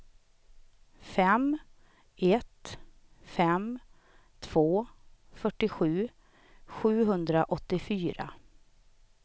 fem ett fem två fyrtiosju sjuhundraåttiofyra